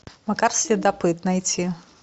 макар следопыт найти